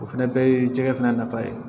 O fɛnɛ bɛɛ ye jɛgɛ fana nafa ye